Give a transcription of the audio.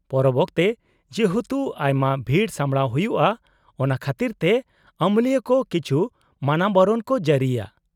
-ᱯᱚᱨᱚᱵ ᱚᱠᱛᱮ ᱡᱮᱦᱮᱛᱩ ᱟᱭᱢᱟ ᱵᱷᱤᱲ ᱥᱟᱢᱲᱟᱣ ᱦᱩᱭᱩᱜᱼᱟ ᱚᱱᱟ ᱠᱷᱟᱹᱛᱤᱨᱛᱮ ᱟᱹᱢᱟᱹᱞᱤᱭᱟᱹ ᱠᱚ ᱠᱤᱪᱷᱩ ᱢᱟᱱᱟᱵᱟᱨᱚᱱ ᱠᱚ ᱡᱟᱹᱨᱤᱭᱟ ᱾